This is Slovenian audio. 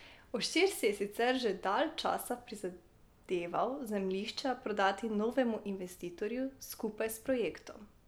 Oštir si je sicer že dalj časa prizadeval zemljišča prodati novemu investitorju skupaj s projektom.